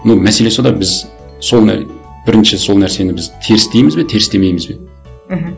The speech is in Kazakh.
ну мәселе сонда біз соны бірінші сол нәрсені біз теріс дейміз бе теріс демейміз бе мхм